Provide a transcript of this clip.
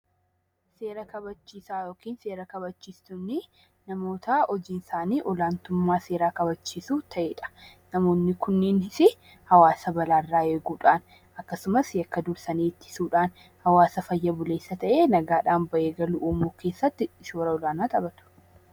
Seera kabachiisaa yookiin seera kabachiistonnii namoota hojiin isaanii ol aantummaa seeraa kabachiisuu ta'e dha. Namoonni kunniinis hawaasa balaa irraa eeguu dhaan akkasumas yakka dursanii ittisuu dhaan, hawaasa fayya buleessa ta'ee nagaa dhaan bahee galu uumuu keessatti shoora olaanaa taphatu.